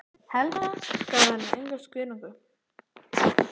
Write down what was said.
Helga: Gaf hann enga skýringu?